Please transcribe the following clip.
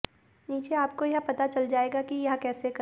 नीचे आपको यह पता चल जाएगा कि यह कैसे करें